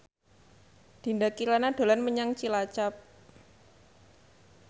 Dinda Kirana dolan menyang Cilacap